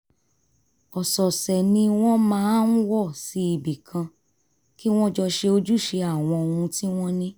ọ̀sọ̀ọ̀sẹ̀ ni wọ́n máa ń wọ̀ sí ibi kan kí wọ́n jọ ṣe ojúṣe àwọn ohun tí wọ́n ní